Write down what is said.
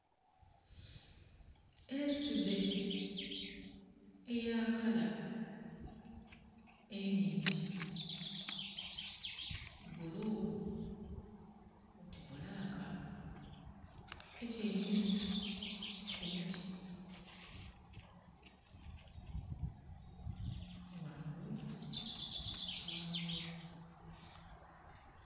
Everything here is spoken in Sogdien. Ensudhe eya kala enhingi, bbulu oti bbulaka, etyaime ku muti ghangulu ghagwo